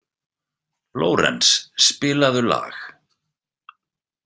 Lórenz, spilaðu lag.